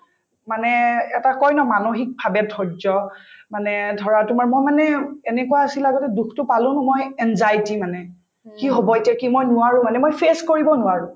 মানে এটা কই ন মানসিকভাবে ধৈৰ্য্য মানে ধৰা তোমাৰ মই মানে এনেকুৱা আছিল আগতে দুখতো পালো ন মই anxiety মানে কি হব এতিয়া কি মই নোৱাৰো মানে মই face কৰিব নোৱাৰো